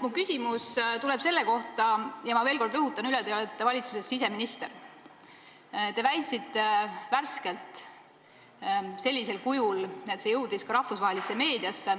Minu küsimus tuleb selle kohta – ja ma veel kord rõhutan: te olete siseminister –, et te väitsite värskelt sellisel kujul, nii et see väide jõudis ka rahvusvahelisse meediasse,